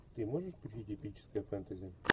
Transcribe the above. ты можешь включить эпическое фэнтези